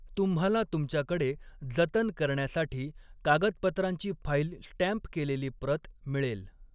तुम्हाला तुमच्याकडे जतन करण्यासाठी कागदपत्रांची फाईल स्टॅम्प केलेली प्रत मिळेल.